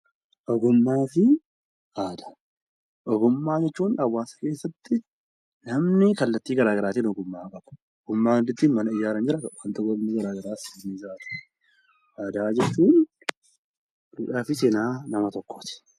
Ogummaafi aadaa; ogummaa jechuun hawaasa keessatti namni kallattii garagaraatiin ogummaa qaba, ogummaan ittiin mana ijaaran jira, ogummaan wantoota garagaraas ni jira jechuudha. Ogummaa jechuun duudhaafi seenaa nama tokkooti.